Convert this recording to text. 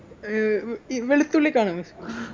ഏർ വ് ഈ വെളുത്തുള്ളിക്കാണ്